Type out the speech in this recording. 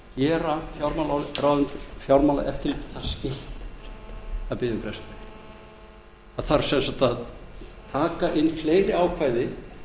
skylt að biðja um frest það þarf sem sagt að taka inn fleiri ákvæði til að